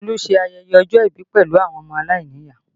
Olu ṣe ayẹyẹ ọjọ́ ìbí pẹ̀lú àwọn ọmọ aláìníyàá